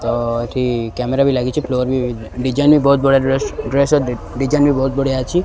ତ ଏଠି କ୍ୟାମେରା ବି ଲାଗିଚି ଫ୍ଲୋର୍ ବି ଡିଜାଇନ୍ ବହୁତ ବଢ଼ିଆ ଡ୍ରେସ୍ ଡ୍ରେସ୍ ର ଦେ ଡିଜାଇନ୍ ବି ବୋହୁତ୍ ବଢ଼ିଆ ଅଛି।